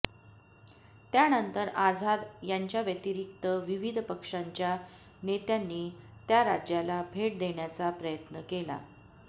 त्यानंतर आझाद यांच्याव्यतिरिक्त विविध पक्षांच्या नेत्यांनी त्या राज्याला भेट देण्याचा प्रयत्न केला